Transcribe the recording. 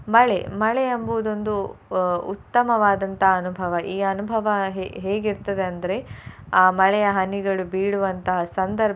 ಮಳೆ. ಮಳೆ ಎಂಬುವುದೊಂದು ಅಹ್ ಉತ್ತಮವಾದಂತಹ ಅನುಭವ ಈ ಅನುಭವ ಹೇ~ ಹೇಗೆ ಇರ್ತದೆ ಅಂದ್ರೆ ಆ ಮಳೆಯ ಹನಿಗಳು ಬೀಳುವಂತಹ ಸಂದರ್ಭ.